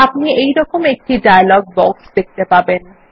আপনি এইরকম একটি ডায়লগ বক্স দেখতে পাবেন